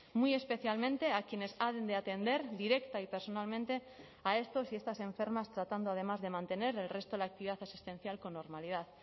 muy especialmente a quienes han de atender directa y personalmente a estos y estas enfermas tratando además de mantener el resto de la actividad asistencial con normalidad